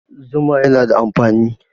Zuma yana da amfani